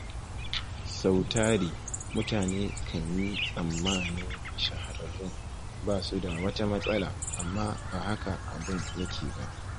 Sau tari, mutane kan yi tsammanin shahararrun ba su da wata matsala, amma ba haka abun yake ba.